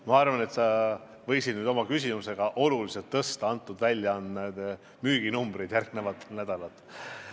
Ma arvan, et sa võisid oma küsimusega oluliselt kasvatada selle väljaande müüginumbreid järgmistel nädalatel.